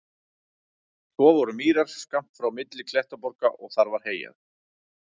Svo voru mýrar skammt frá milli klettaborga og þar var heyjað.